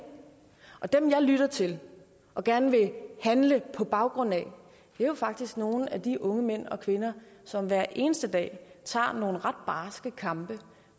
og dem jeg lytter til og gerne vil handle på baggrund af er faktisk nogle af de unge mænd og kvinder som hver eneste dag tager nogle ret barske kampe